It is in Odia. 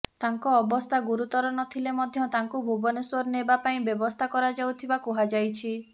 ତାଙ୍କ ଅବସ୍ଥା ଗୁରୁତର ନଥିଲେ ମଧ୍ୟ ତାଙ୍କୁ ଭୁବନେଶ୍ୱର ନେବା ପାଇଁ ବ୍ୟବସ୍ଥା କରାଯାଉଥିବା କୁହାଯାଇଛି